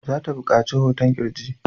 Za ta buƙaci hoton ƙirji.